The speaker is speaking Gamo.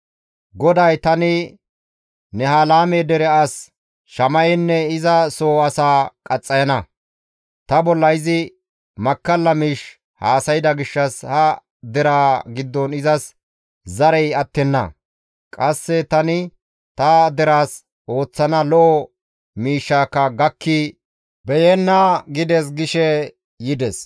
GODAY, ‹Tani Nehelaame dere as Shama7enne iza soo asaa qaxxayana. Ta bolla izi makkalla miish haasayda gishshas ha deraa giddon izas zarey attenna; qasse tani ta deraas ooththana lo7o miishshaka gakki beyenna› gides» gishe yides.